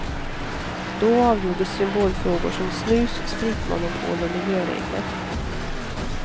Då avgjordes symbolfrågor som snus, spritmonopol och miljöregler.